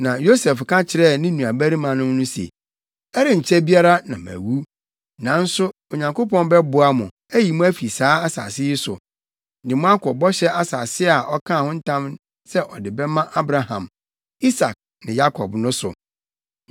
Na, Yosef ka kyerɛɛ ne nuabarimanom no se, “Ɛrenkyɛ biara na mawu. Nanso Onyankopɔn bɛboa mo, ayi mo afi saa asase yi so, de mo akɔ bɔhyɛ asase a ɔkaa ho ntam sɛ ɔde bɛma Abraham, Isak ne Yakob no so.”